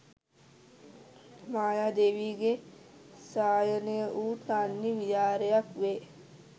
මායාදේවියගේ සයනය වූ තන්හි විහාරයක් වේ.